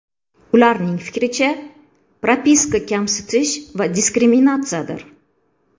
Ularning fikricha, propiska kamsitish va diskriminatsiyadir.